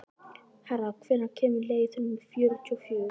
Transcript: Hera, hvenær kemur leið númer fjörutíu og fjögur?